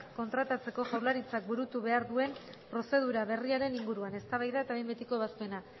kontratatzeko jaurlaritzak burutu behar duen prozedura berriaren inguruan eztabaida eta behin betiko ebazpena